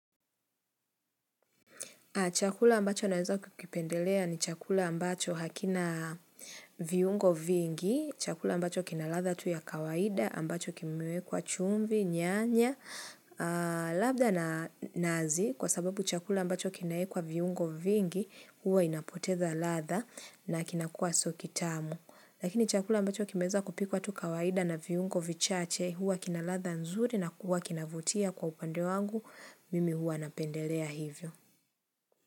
Chakula ambacho naweza kukipendelea ni chakula ambacho hakina viungo vingi, chakula ambacho kina ladhaa tu ya kawaida, ambacho kimewekwa chumvi, nyanya, labda na nazi kwa sababu chakula ambacho kinaekwa viungo vingi huwa inapoteza ladhaa na kinakua sio kitamu. Lakini chakula ambacho kimeweza kupikwa tu kawaida na viungo vichache huwa kina ladhaa nzuri na huwa kinavutia kwa upande wangu, mimi huwa napendelea hivyo.